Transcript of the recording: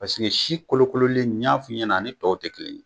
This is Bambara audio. si kolo kololen ni y'a fɔ i ɲɛna a ni tɔw tɛ kelen ye.